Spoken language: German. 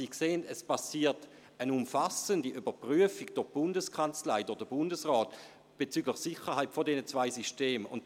Sie sehen, es geschieht eine umfassende Überprüfung der Sicherheit dieser beiden Systeme durch die Bundeskanzlei und den Bundesrat.